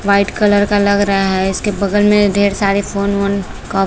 white colour का लग रहा है इसके बगल में ढेर सारे फ़ोन वोन क--